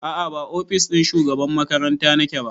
A'a ba ofis ɗin shugaban makaranta nake ba